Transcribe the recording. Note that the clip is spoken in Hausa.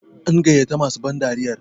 an gaiyato masu bandariyar?